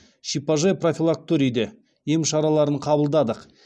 шипажай профилакториде ем шараларын қабылдадық